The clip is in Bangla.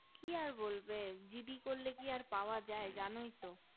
কি আর বলবে gd করলে কি আর পাওয়া যাই জানোই তো